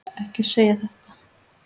Ekki segja þetta!